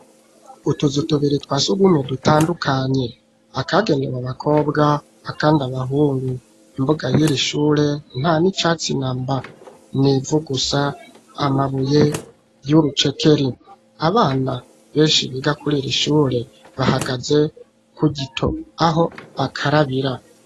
Utuzu tubiri twa sugumwe dutandukanye, akagenewe abakobwa, akandi abahungu, imbuga y'iri ishure nta n'icatsi namba ,n'ivu gusa amabuye y'urucekeri ,abana benshi biga kuriri ishure, bahagaze ku gito aho bakarabira.